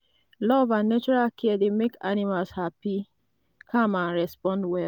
love and natural care dey make animals happy calm and respond well.